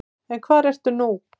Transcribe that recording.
En hvar ertu nú?